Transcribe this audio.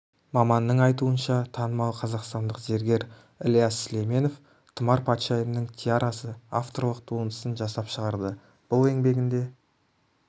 маманның айтуынша танымал қазақстандық зергер ілияс сүлейменов тұмар патшайымның тиарасы авторлық туындысын жасап шығарды бұл еңбегінде